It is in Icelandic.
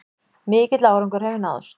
Mikill árangur hefur náðst